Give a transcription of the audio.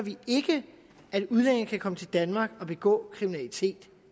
at udlændinge kan komme til danmark og begå kriminalitet